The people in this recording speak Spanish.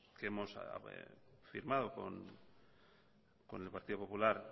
que hemos firmado con el partido popular